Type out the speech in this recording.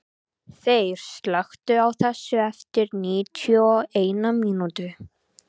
Þeyr, slökktu á þessu eftir níutíu og eina mínútur.